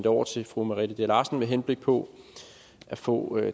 over til fru merete dea larsen med henblik på at få